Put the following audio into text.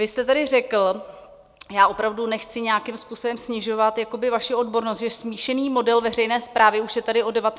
Vy jste tady řekl - já opravdu nechci nějakým způsobem snižovat vaši odbornost - že smíšený model veřejné správy už je tady od 19. století.